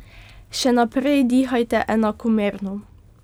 Še naprej dihajte enakomerno.